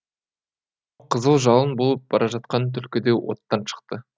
қызыл жалын болып бара жатқан түлкі де оттан шықты